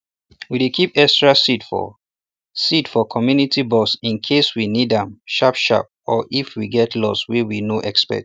we dey keep extra seed for seed for community box incase we need ahm sharp sharp or if we get loss wey we no expect